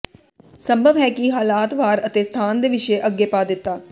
ਸੰਭਵ ਹੈ ਕਿ ਹਾਲਾਤ ਵਾਰ ਅਤੇ ਸਥਾਨ ਦੇ ਵਿਸ਼ੇ ਅੱਗੇ ਪਾ ਦਿੱਤਾ